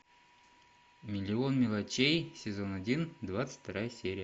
миллион мелочей сезон один двадцать вторая серия